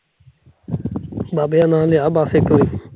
ਬਾਬੇ ਦਾ ਨਾਲ ਏ ਆ ਬੱਸ ਇਕ